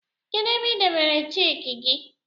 Kedu ebe I debere cheki gi